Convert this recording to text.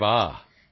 ਅਰੇ ਵਾਹ